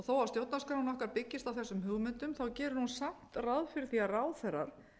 þó að stjórnarskráin okkar byggist á þessum hugmyndum gerir hún samt ráð fyrir að ráðherrar